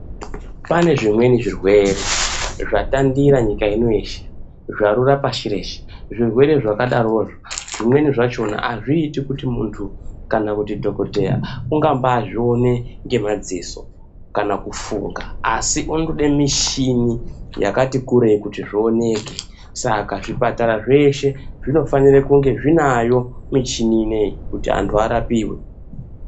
Pane zvimweni zvirwere zvatandira nyika ino yeshe zvarura pashi reshe. Zvirwere zvakadarozvo azviiti kuti muntu kana kuti dhokodheya ungazvione nemadziso kana kufunga asi unotode mushini yakati kurei kuti zvioneke saka zvipatara zveshe zvinofanira kunge zvinayo muchini ineyi kuti antu arapiwe.